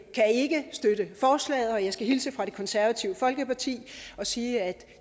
støtte forslaget og jeg skal hilse fra det konservative folkeparti og sige at